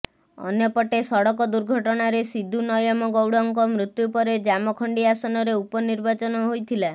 ଅନ୍ୟପଟେ ସଡକ ଦୁର୍ଘଟଣାରେ ସିଦୁ ନୟମଗୌଡଙ୍କ ମୃତ୍ୟୁ ପରେ ଜାମଖଣ୍ଡି ଆସନରେ ଉପନିର୍ବାଚନ ହୋଇଥିଲା